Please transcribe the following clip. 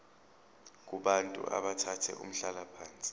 kubantu abathathe umhlalaphansi